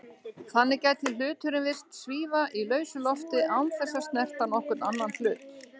Þannig gæti hluturinn virst svífa í lausu lofti án þess að snerta nokkurn annan hlut.